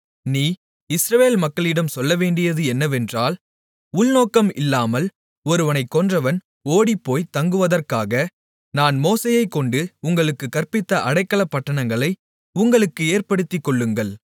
நீ இஸ்ரவேல் மக்களிடம் சொல்லவேண்டியது என்னவென்றால் உள்நோக்கம் இல்லாமல் ஒருவனைக் கொன்றவன் ஓடிப்போய் தங்குவதற்காக நான் மோசேயைக்கொண்டு உங்களுக்குக் கற்பித்த அடைக்கலப்பட்டணங்களை உங்களுக்கு ஏற்படுத்திக்கொள்ளுங்கள்